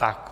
Tak.